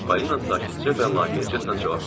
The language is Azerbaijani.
Polina sakitcə və laqeydcəsinə cavab verdi.